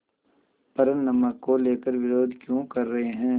पर नमक को लेकर विरोध क्यों कर रहे हैं